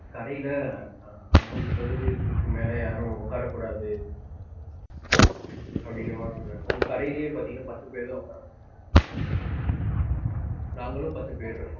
கடைல அஹ் ஐம்பது சதவீதத்துக்கு மேல யாரும் உக்கார கூடாது. அப்டின்கிறமாதிரி சொல்றாங்க. இப்ப கடைலையே பாத்தீங்கன்னா பத்து பேர் தான் உக்காரனும். நாங்களும் பத்து பேர் இருக்கோம்.